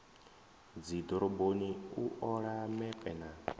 dzidoroboni u ola mepe na